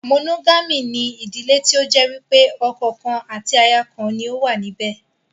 Mònógámì ni yóò ìdílé tí ó jẹ́ wípé ọkọ̀ kan àti aya kan ni ó wà níbẹ̀